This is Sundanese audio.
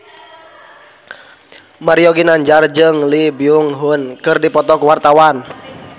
Mario Ginanjar jeung Lee Byung Hun keur dipoto ku wartawan